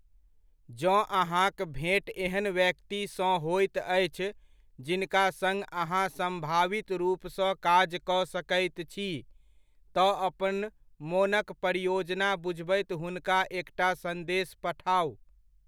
जँ अहाँक भेंट एहन व्यक्तिसँ होइत अछि जिनका सङ्ग अहाँ सम्भावित रूपसँ काज कऽ सकैत छी, तऽ अपन मोनक परियोजना बुझबैत हुनका एकटा सन्देश पठाउ ।